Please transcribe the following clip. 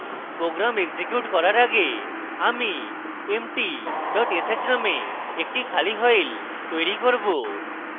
program execute করার আগে আমি empty dot sh named একটি খালি file তৈরী করব